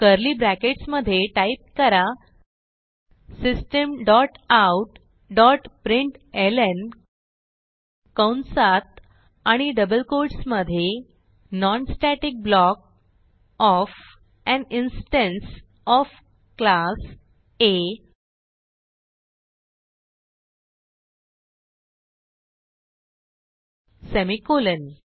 curly brackets मधे type करा system dot out dot println कंसात आणि डबल कोट्स मधे non static block of an instance of class A semicolon